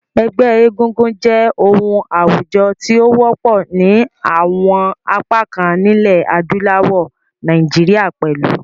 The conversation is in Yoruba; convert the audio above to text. Ẹgbẹ́ egúngún jẹ́ oun àwùjo ti o wọ́pọ̀ ni àwon apá kan nílẹ̀ adúláwò, Naijiria pẹ̀lu.